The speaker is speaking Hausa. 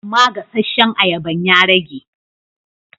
Amma gasasshen ayaban ya rage.